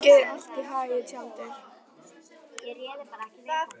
Gangi þér allt í haginn, Tjaldur.